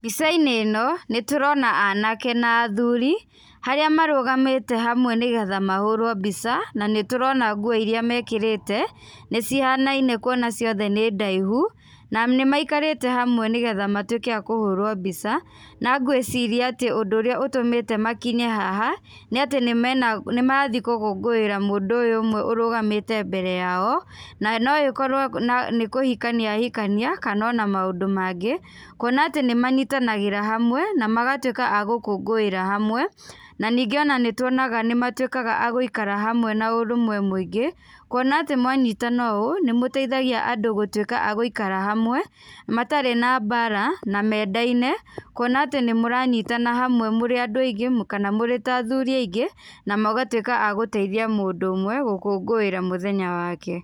Mbica-inĩ ĩno nĩ tũrona anake na athuri harĩa marũgamĩte hamwe nĩgetha mahũrwo mbica, na nĩtũrona nguo irĩa mekĩrĩte nĩ cihanaine kuona ciothe nĩ ndaihu. Na nĩmaikarĩte hamwe nĩgetha matuĩke a kũhũrwo mbica na ngwĩciria atĩ ũndũ ũrĩa ũtũmĩte makinye haha nĩ atĩ nĩ marathiĩ gũkũngũĩra mũndũ ũyũ ũmwe ũrũgamĩte mbere yao na no ĩkorwo nĩ kũhikania ahikania kana ona maũndũ mangĩ. Kuona atĩ nĩ manyitanagĩra hamwe na magatuĩka a gũkũngũĩra hamwe, na ningĩ ona nĩ tuonaga nĩ matuĩkaga a gũikara hamwe na ũrũmwe mũingĩ. Kuona atĩ mwanyitana ũũ, nĩ mũteithagia andu gũtuĩka a gũikara hamwe matarĩ na mbara na mendaine. Kuona atĩ nĩ mũranyitana hamwe mũrĩ andũ aingĩ kana mũrĩ athuri aingĩ, na mũgatuĩka a gũteithia mũndũ ũmwe gũkũngũĩra mũthenya wake.